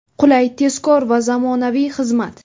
Qulay, tezkor va zamonaviy xizmat!.